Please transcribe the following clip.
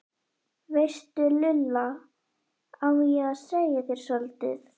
veistu Lulla, á ég að segja þér soldið?